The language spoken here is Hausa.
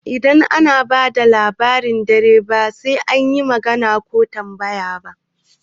Idan ana bada Labarin dare ba'a yin magana ko tambaya